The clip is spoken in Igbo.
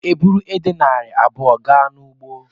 Aga m eburu edè narị abụọ gaa n'ugbo.